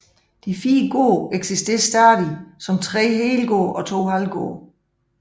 De fire gårde eksisterer stadig som tre helgårde og to halvgårde